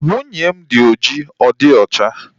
Nwunye m dị oji ọ dịghị ocha